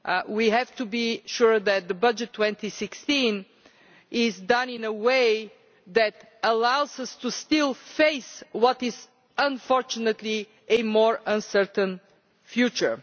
We have to be sure that budget 2016 is done in a way that allows us to face what is unfortunately a more uncertain future.